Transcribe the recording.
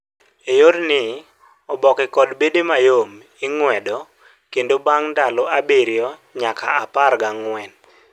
e yor ni, oboke kod bede mayom ing'wedo kendo bang' ndalo abirio nyaka apar ga angg'uen